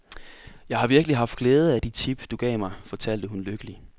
Jeg har virkelig haft glæde af de tip, du gav mig, fortalte hun lykkelig.